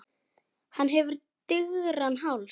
Hann hefur digran háls.